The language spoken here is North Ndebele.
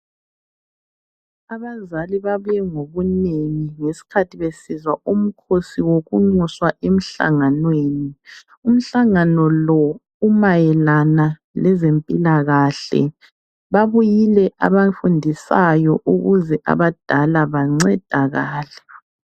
Abazali babuye ngobunengi ngesikhathi besizwa umkhosi wokunxuswa emhlanganweni. Umhlangano lo umayelana lezempilakahle. Babuyile abafundisayo ukuze abadala bancedakale.